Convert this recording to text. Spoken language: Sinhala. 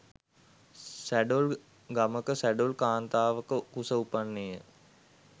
සැඬොල් ගමක සැඬොල් කාන්තාවක කුස උපන්නේය.